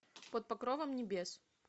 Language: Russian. под покровом небес